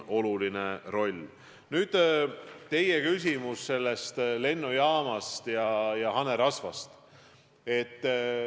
Nüüd, te mainisite lennujaama ja hanerasva.